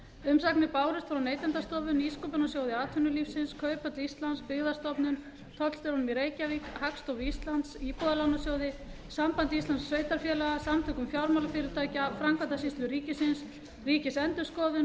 umsagnir bárust frá neytendastofu nýsköpunarsjóði atvinnulífsins kauphöll íslands byggðastofnun tollstjóranum í reykjavík hagstofu íslands íbúðalánasjóði sambandi íslenskra sveitarfélaga samtökum fjármálafyrirtækja framkvæmdasýslu ríkisins ríkisendurskoðun